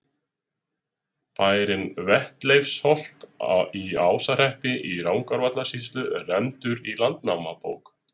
Bærinn Vetleifsholt í Ásahreppi í Rangárvallasýslu er nefndur í Landnámabók.